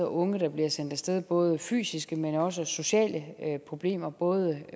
unge der bliver sendt af sted både fysiske men også sociale problemer både